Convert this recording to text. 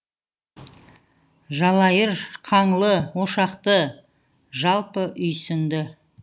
жалайыр қаңлы ошақты жалпы үйсінді